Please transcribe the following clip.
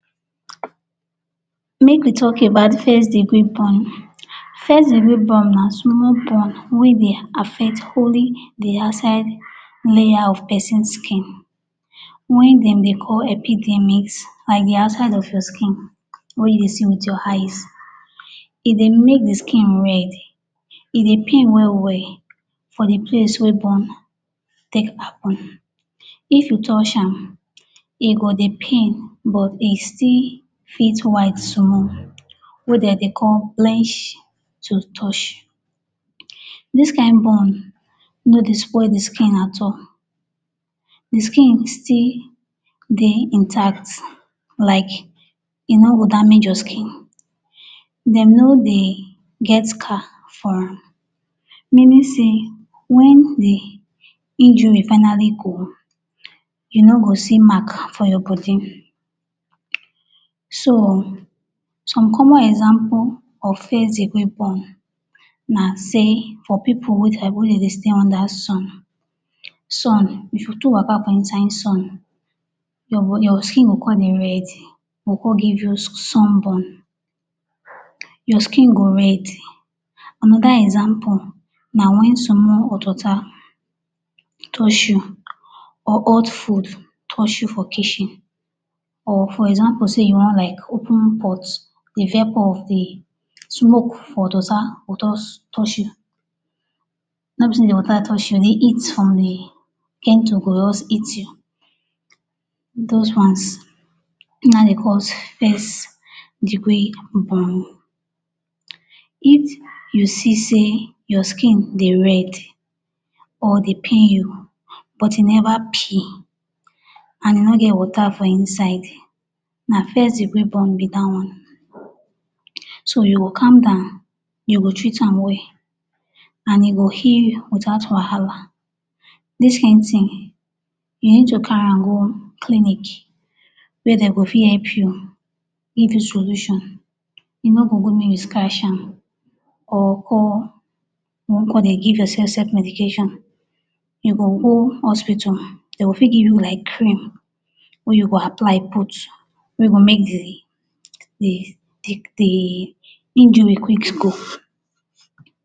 Make we talk about first degree burn. First degree burn na small burn wey dey affect only the outside layer of peson skin wey dem dey call epidermis like the outside of your skin wey you dey see with your eyes. E dey make the skin red; e dey pain well well for the place wey burn take happen. If you touch am, e go dey pain but e still fit white small wey de dey call blanch till touch. Dis kain burn no dey spoil the skin at all. The skin still dey intact like e no go damage your skin. Dem no dey get scar for am, meaning sey wen the injury finally go, you no go see Mark for your body. So, some common example of first degree burn na sey for pipu wey dia body dey stay under sun. Sun, if you too waka for inside sun, your your skin go con dey red, e go con give you sunburn. Your skin go red. Another example na wen someone hot water touch you or hot food touch you for kitchen or for example sey you wan like open pot, the vapour of the smoke for the water juz touch you. No be sey the water touch you, the heat from the kettle go juz hit you. Dos one, na ein dey cause first degree burn. If you see sey your skin dey red, or dey pain you but e neva peel, an e no get water for inside, na first degree burn be dat one. So, you go calm down, you go treat am well, an e go heal you without wahala. Dis kain tin, you need carry am go clinic where de go fit help you give you solution. E no go good make you scratch am or or con dey give yoursef self medication. You go go hospital, de go fit give you like cream wey you go apply put wey go make the the the injury quick go.